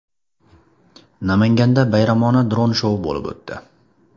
Namanganda bayramona dron shou bo‘lib o‘tdi.